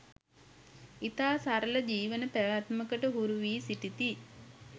ඉතා සරල ජීවන පැවැත්මකට හුරුවී සිටිති